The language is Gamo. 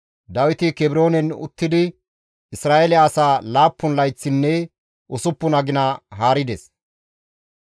Dawiti Kebroonen uttidi Isra7eele asaa laappun layththinne usuppun agina haarides.